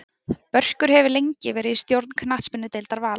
Börkur hefur lengi verið í stjórn knattspyrnudeildar Vals.